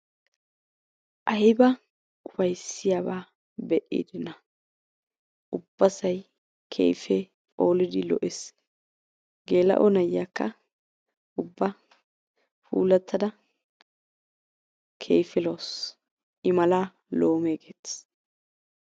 ayba ufayisiyaaba be'idanaa. ubbasay keehippe phoolidi lo'ees. geela'o na'iyaakka ubba puulattada keehippe lo"awus. i malaa loomee geettees.